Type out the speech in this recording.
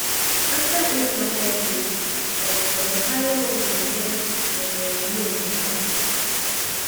after eight market days um dem carry one yeye um name give am